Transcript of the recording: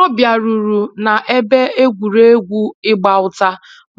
Ọ biaruru na ebe egwuregwu ịgba ụta